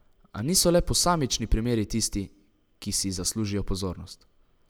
A niso le posamični primeri tisti, ki si zaslužijo pozornost.